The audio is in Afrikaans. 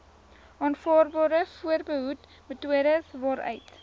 aanvaarbare voorbehoedmetodes waaruit